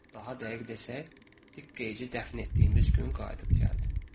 Daha dəqiq desək, diqqəyici dəfn etdiyimiz gün qayıdıb gəldi.